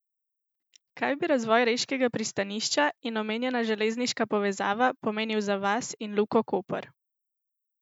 Kaj bi razvoj reškega pristanišča in omenjena železniška povezava pomenil za vas in Luko Koper?